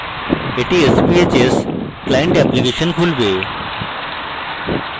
এটি sbhs client application খুলবে